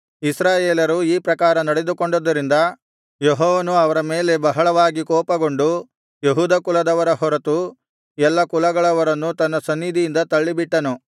ಇಸ್ರಾಯೇಲರು ಈ ಪ್ರಕಾರ ನಡೆದುಕೊಂಡುದರಿಂದ ಯೆಹೋವನು ಅವರ ಮೇಲೆ ಬಹಳವಾಗಿ ಕೋಪಗೊಂಡು ಯೆಹೂದ ಕುಲದವರ ಹೊರತು ಎಲ್ಲ ಕುಲಗಳವರನ್ನು ತನ್ನ ಸನ್ನಿಧಿಯಿಂದ ತಳ್ಳಿಬಿಟ್ಟನು